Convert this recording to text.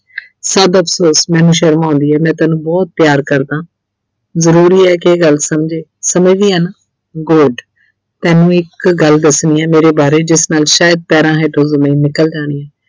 ਛੱਡ ਅਫਸੋਸ, ਮੈਨੂੰ ਸ਼ਰਮ ਆਉਂਦੀ ਐ ਮੈਂ ਤੈਨੂੰ ਬਹੁਤ ਪਿਆਰ ਕਰਦਾ ਜਰੂਰੀ ਐ ਕਿ ਇਹ ਗੱਲ ਸਮਝੇਂ, ਸਮਝਦੀ ਐਂ ਨਾ good ਤੈਨੂੰ ਇੱਕ ਗੱਲ ਦੱਸਣੀ ਐ ਮੇਰੇ ਬਾਰੇ ਜਿਸ ਨਾਲ ਸ਼ਾਇਦ ਪੈਰ੍ਹਾਂ ਹੇਠੋਂ ਜ਼ਮੀਨ ਨਿਕਲ ਜਾਣੀ ਐਂ।